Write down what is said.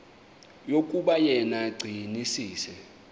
yokuba yena gcinizibele